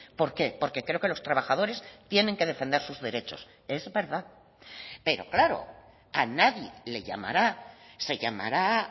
por qué porque creo que los trabajadores tienen que defender sus derechos es verdad pero claro a nadie le llamará se llamará